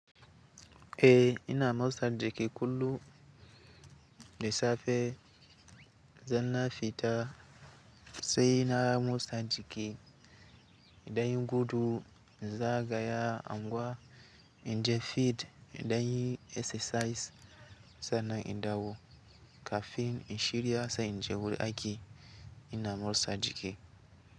Eh ina motsa jiki kullum da safe, zanna fita sai na motsa jiki, idan gudu na gaya angwa, inje fit idan exercise sannan in dawo. Kafin in shirya sai inje wurin aiki ina motsa jiki.